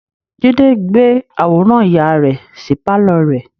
Jide gbé àwòrán ìyá rẹ sí pàlọ́ rẹ̀